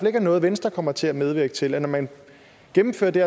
ikke er noget venstre kommer til at medvirke til at når man gennemfører det